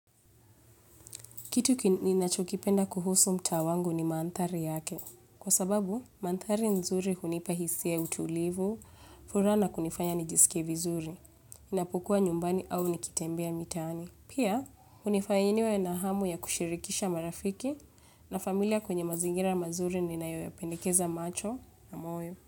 Kitu kenye nachokipenda kuhusu mtaa wangu ni manthari yake. Kwa sababu, manthari nzuri hunipa hisia utulivu, furaha la kunifanya nijisike vizuri. Napokuwa nyumbani au nikitembea mitaani. Pia, unifanya niwe na hamu ya kushirikisha marafiki na familia kwenye mazingira mazuri ninayo yapendekeza macho na moyo.